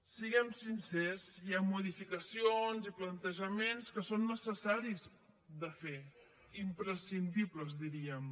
siguem sincers hi han modificacions i plantejaments que són necessaris de fer imprescindibles diríem